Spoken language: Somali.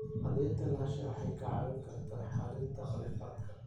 Cadaynta lahaanshaha waxay kaa caawin kartaa xallinta khilaafaadka.